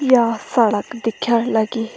या सड़क दिख्यण लगीं।